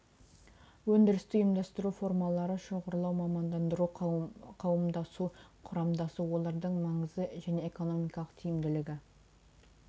өндірісті ұйымдастыру формалары шоғырлау мамандандыру қауымдасу құрамдасу олардың маңызы және экономикалық тиімділігі